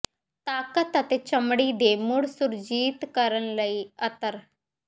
ਤਾਕਤ ਅਤੇ ਚਮੜੀ ਦੇ ਮੁੜ ਸੁਰਜੀਤ ਕਰਨ ਲਈ ਅਤਰ